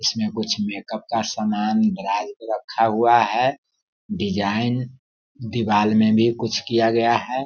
इसमें कुछ मेक-अप का सामान ड्राज में रखा हुआ है डिजाइन दीवाल में भी कुछ किया गया हैं।